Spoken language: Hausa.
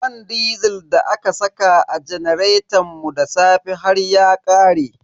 Man disil da aka saka a janaretan mu da safe har ya ƙare.